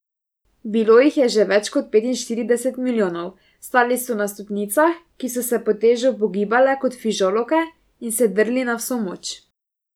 Bilo jih je že več kot petinštirideset milijonov, stali so na stopnicah, ki so se pod težo upogibale kot fižolovke, in se drli na vso moč.